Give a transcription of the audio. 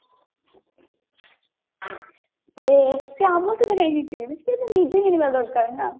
ସିଏ ଆମ ସହିତ କହିକି ଯିବେ ଯେ ସିଏ ତ ନିଜେ କିଣିବା ଦରକାର ନା